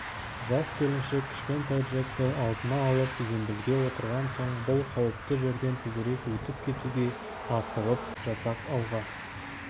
жас келіншек кішкентай джекті алдына алып зембілге отырған соң бұл қауіпті жерден тезірек өтіп кетуге асығып жасақ алға